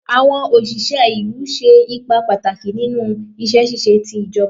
Awọn oṣiṣẹ ilu ṣe ipa pataki ninu iṣẹ ṣiṣe ti ijọba